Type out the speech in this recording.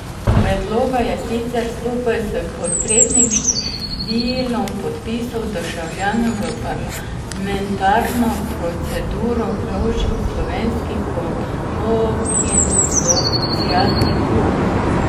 Predloga je sicer skupaj s potrebnim številom podpisov državljanov v parlamentarno proceduro vložil Slovenski konopljin socialni klub.